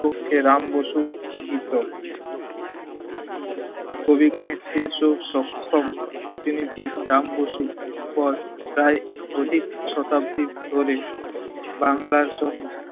পক্ষে রাম বসু গীত। কবি গানে ও সক্ষম প্রতিনিধি রাম বসুর পর প্রায় অধিক শতাব্দী ধরে বাঙলার সোম~